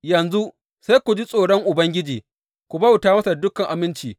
Yanzu, sai ku ji tsoron Ubangiji, ku bauta masa da dukan aminci.